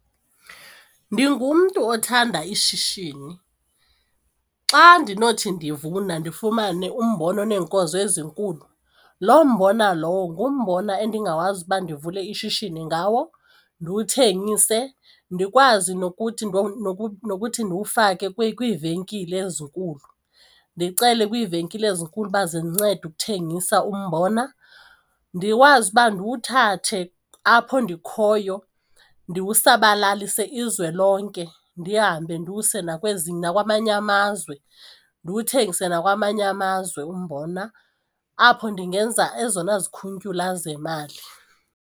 Ndingumntu othanda ishishini. Xa ndinothi ndivuna ndifumane umbona oneenkozo ezinkulu loo mbona lowo ngumbona endingakwazi uba ndivule ishishini ngawo ndiwuthengise ndikwazi nokuthi ndiwufake kwiivenkile ezinkulu ndicele kwiivenkile ezinkulu uba zindincede ukuthengisa umbona, ndikwazi uba ndiwuthathe apho ndikhoyo ndiwusabalalise izwe lonke ndihambe ndiwuse nakwamanye amazwe. Ndiwuthengise nakwamanye amazwe umbona apho ndingenza ezona zikhuntyula zemali.